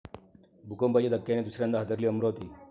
भूकंपाच्या धक्क्याने दुसऱ्यांदा हादरली अमरावती